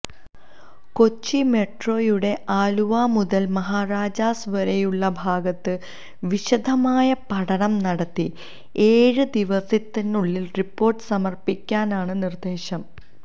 കൊച്ചി മെട്രോയുടെ ആലുവ മുതല് മഹാരാജാസ് വരേയുള്ള ഭാഗത്ത് വിശദമായ പഠനം നടത്തി ഏഴ് ദിവസത്തിനുള്ളില് റിപ്പോര്ട്ട് സമര്പ്പിക്കാനാണ് നിര്ദ്ദേശം